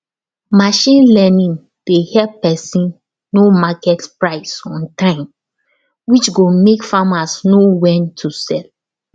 machine learning dey help person know market price on time which go make farmers know when to sell